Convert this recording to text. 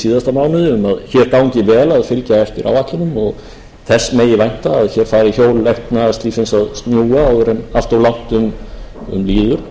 síðasta mánuði um að hér gangi vel að fylgja eftir áætlunum og þess megi vænta að hér fari hjól efnahagslífsins að snúast áður en allt of langt um líður